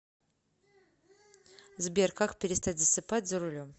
сбер как перестать засыпать за рулем